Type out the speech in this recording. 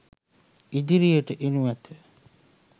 ඉදිරියට එනු ඇත.